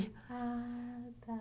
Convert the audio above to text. Ah, tá.